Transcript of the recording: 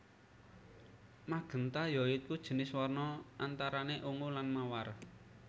Magénta ya iku jinis warna antarane ungu lan mawar